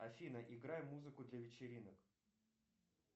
афина играй музыку для вечеринок